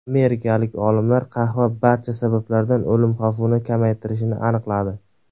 Amerikalik olimlar qahva barcha sabablardan o‘lim xavfini kamaytirishini aniqladi.